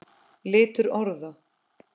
Litur orða